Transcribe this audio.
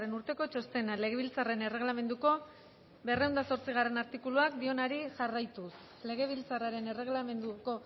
urteko txostena legebiltzarraren erregelamenduko berrehun eta zortzigarrena artikuluak dioenari jarraituz legebiltzarraren erregelamenduko